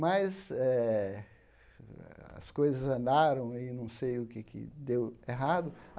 Mas eh as coisas andaram e não sei o que é que deu errado.